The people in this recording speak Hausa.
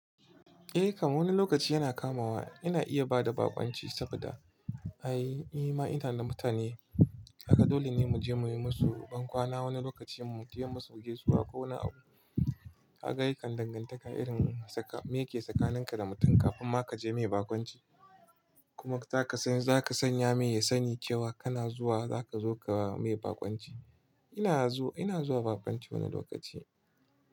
Eh kam wani lokaci yana kamawa, yana iya bada baƙunci saboda ai, nima ina da mutane haka dole ne mu je mu yi musu bankwana wani lokacin mu taya musu gaisuwa ko wani abu. Haka yakan dangantaka irin saka, me ke tsakanin ka da mutum kafin ma ka je mai baƙunci kuma zaka san, zaka sanya me ya sani cewa kana zuwa, zaka zo ka ba mai baƙunci. Ina zuwa, ina zuwa baƙunci wani lokaci.